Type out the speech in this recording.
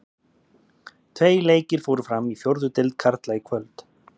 Tveir leikir fóru fram í fjórðu deild karla í kvöld.